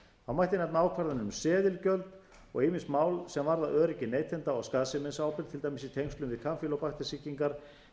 þá mætti nefna ákvarðanir um seðilgjöld og ýmis mál sem varða öryggi neytenda og skaðsemisábyrgð til dæmis í tengslum við kampýlóbakter sýkingar